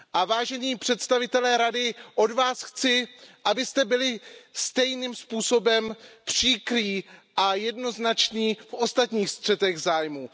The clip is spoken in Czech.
Vážení představitelé Rady, od vás chci, abyste byli stejným způsobem příkří a jednoznační v ostatních střetech zájmů.